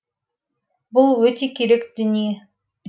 бұл өте керек дүние